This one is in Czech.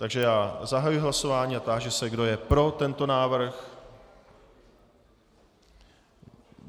Takže já zahajuji hlasování a táži se, kdo je pro tento návrh.